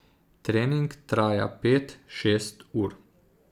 Trening traja pet, šest ur.